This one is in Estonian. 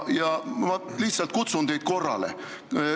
Ma lihtsalt kutsun teid korrale.